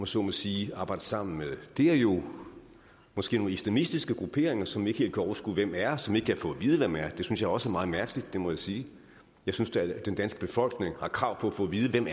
så må sige at arbejde sammen med er jo måske nogle islamistiske grupperinger som vi ikke helt kan overskue hvem er og som vi ikke kan få at vide hvem er det synes jeg også er meget mærkeligt det må jeg sige jeg synes da den danske befolkning har krav på at få at vide hvem